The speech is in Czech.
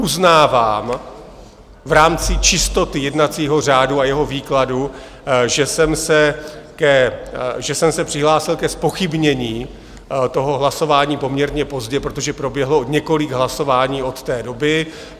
Uznávám v rámci čistoty jednacího řádu a jeho výkladu, že jsem se přihlásil ke zpochybnění toho hlasování poměrně pozdě, protože proběhlo několik hlasování od té doby.